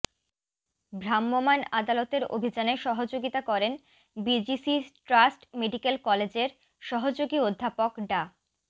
ভ্রাম্যমাণ আদালতের অভিযানে সহযোগিতা করেন বিজিসি ট্রাস্ট মেডিকেল কলেজের সহযোগী অধ্যাপক ডা